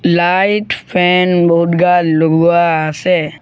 Light fan বহুত গাল লগোৱা আছে।